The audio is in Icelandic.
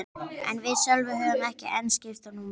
En við Sölvi höfðum ekki enn skipst á númerum.